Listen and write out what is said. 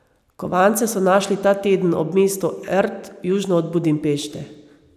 Kovance so našli ta teden ob mestu Erd južno od Budimpešte.